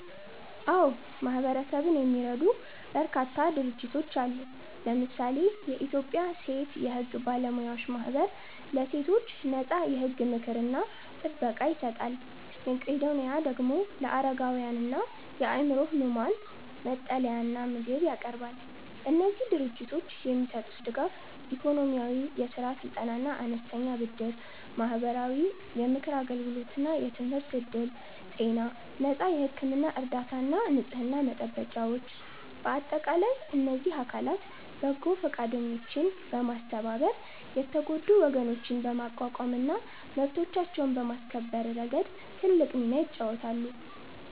አዎ፣ ማህበረሰብን የሚረዱ በርካታ ድርጅቶች አሉ። ለምሳሌ የኢትዮጵያ ሴት የሕግ ባለሙያዎች ማኅበር ለሴቶች ነፃ የሕግ ምክርና ጥበቃ ይሰጣል። መቄዶኒያ ደግሞ ለአረጋውያንና የአእምሮ ሕሙማን መጠለያና ምግብ ያቀርባል። እነዚህ ድርጅቶች የሚሰጡት ድጋፍ፦ -ኢኮኖሚያዊ፦ የሥራ ስልጠናና አነስተኛ ብድር። -ማህበራዊ፦ የምክር አገልግሎትና የትምህርት ዕድል። -ጤና፦ ነፃ የሕክምና እርዳታና ንጽሕና መጠበቂያዎች። በአጠቃላይ እነዚህ አካላት በጎ ፈቃደኞችን በማስተባበር የተጎዱ ወገኖችን በማቋቋምና መብቶቻቸውን በማስከበር ረገድ ትልቅ ሚና ይጫወታሉ።